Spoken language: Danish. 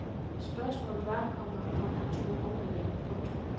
Spørgsmålet var, komma om han turde åbne den. punktum